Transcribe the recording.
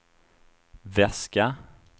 väska